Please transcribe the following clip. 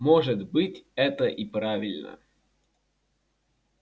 может быть это и правильно